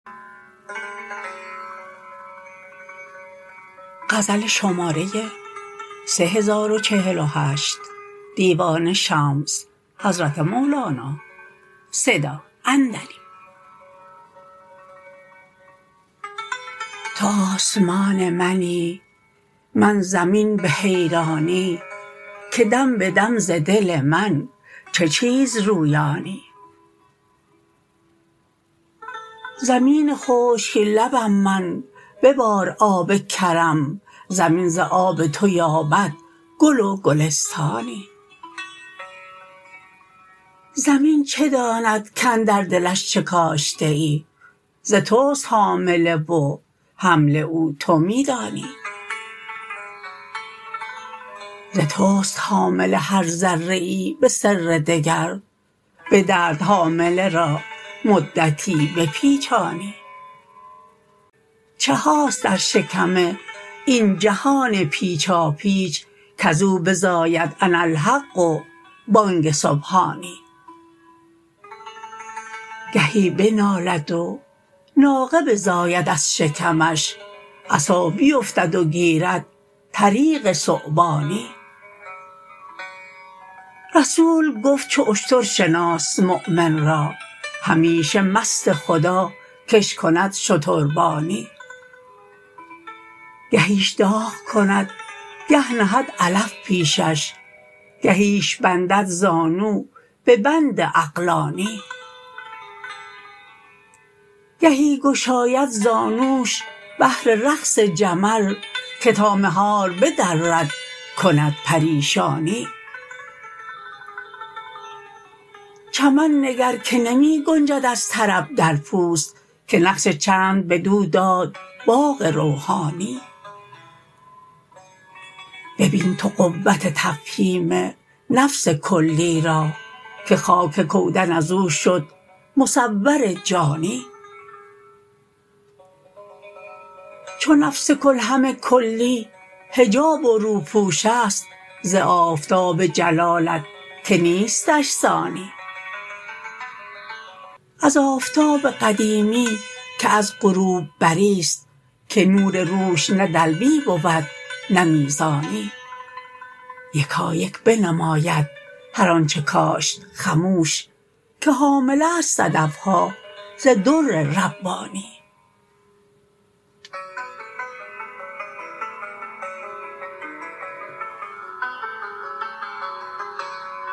تو آسمان منی من زمین به حیرانی که دم به دم ز دل من چه چیز رویانی زمین خشک لبم من ببار آب کرم زمین ز آب تو باید گل و گلستانی زمین چه داند کاندر دلش چه کاشته ای ز توست حامله و حمل او تو می دانی ز توست حامله هر ذره ای به سر دگر به درد حامله را مدتی بپیچانی چه هاست در شکم این جهان پیچاپیچ کز او بزاید اناالحق و بانگ سبحانی گهی بنالد و ناقه بزاید از شکمش عصا بیفتد و گیرد طریق ثعبانی رسول گفت چو اشتر شناس مؤمن را همیشه مست خدا کش کند شتربانی گهیش داغ کند گه نهد علف پیشش گهیش بندد زانو به بند عقلانی گهی گشاید زانوش بهر رقص جعل که تا مهار به درد کند پریشانی چمن نگر که نمی گنجد از طرب در پوست که نقش چند بدو داد باغ روحانی ببین تو قوت تفهیم نفس کلی را که خاک کودن از او شد مصور جانی چو نفس کل همه کلی حجاب و روپوشست ز آفتاب جلالت که نیستش ثانی از آفتاب قدیمی که از غروب بری است که نور روش نه دلوی بود نه میزانی یکان یکان بنماید هر آنچ کاشت خموش که حامله ست صدف ها ز در ربانی